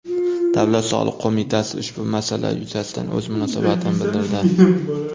Davlat soliq qo‘mitasi ushbu masala yuzasidan o‘z munosabatini bildirdi .